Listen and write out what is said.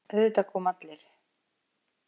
Auðvitað koma allir.